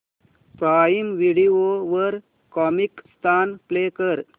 prime video वर Comicstaan play कर